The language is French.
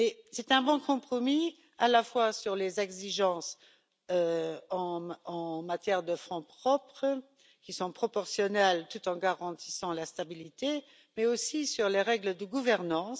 C'est un bon compromis, à la fois sur les exigences en matière de fonds propres, qui sont proportionnelles tout en garantissant la stabilité, mais aussi sur les règles de gouvernance.